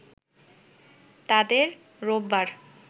তাদের রোববার